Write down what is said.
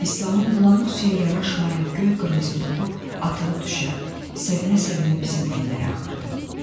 İslamın bulanıq suya yaraşmayan göy-qırmızı topu atılıb düşə, sevinə-sevinə bizim ellərə axırdı.